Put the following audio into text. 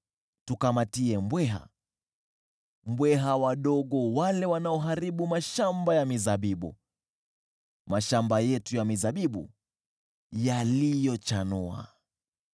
Tukamatie mbweha, mbweha wale wadogo wanaoharibu mashamba ya mizabibu, mashamba yetu ya mizabibu yaliyochanua.